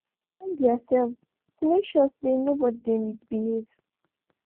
them dey check theirselves to make sure say no body dey misbehave